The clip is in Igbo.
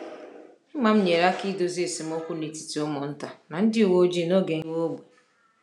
Imam nyere aka idozi esemokwu n’etiti ụmụ nta na ndị uwe ojii n’oge ngagharị iwe ógbè.